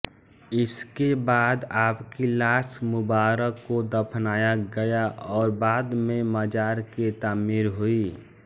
इसके बाद आपकी लाश मुबारक़ को दफनाया गया और बाद में मजार की तामीर हुई